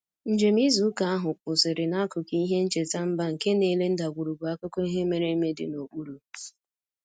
Njem izu ụka ahụ kwụsịrị n'akụkụ ihe ncheta mba nke na-ele ndagwurugwu akụkọ ihe mere eme dị n'okpuru